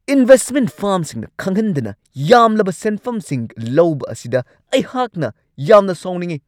Investment ꯐꯥꯔꯝꯁꯤꯡꯅ ꯈꯪꯍꯟꯗꯅ ꯌꯥꯝꯂꯕ ꯁꯦꯟꯐꯝꯁꯤꯡ ꯂꯧꯕ ꯑꯁꯤꯗ ꯑꯩꯍꯥꯛꯅ ꯌꯥꯝꯅ ꯁꯥꯎꯅꯤꯡꯉꯤ ꯫